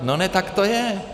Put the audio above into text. No ne, tak to je.